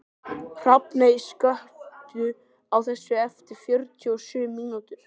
Hrafney, slökktu á þessu eftir fjörutíu og sjö mínútur.